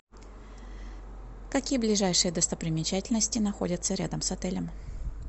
какие ближайшие достопримечательности находятся рядом с отелем